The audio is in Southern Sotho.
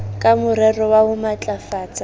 ka morero wa ho matlafatsa